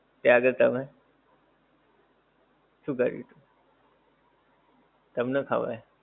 ત્યાં ગયા હતા શું કર્યું હતું તમને ખબર